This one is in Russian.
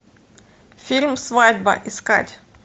фильм свадьба искать